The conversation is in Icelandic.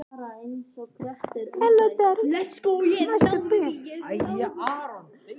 Kristján Már: Og getið þið fengið annað skip?